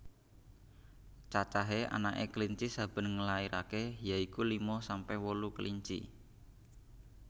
Cacahé anaké kelinci saben nglairaké ya iku lima sampe wolu kelinci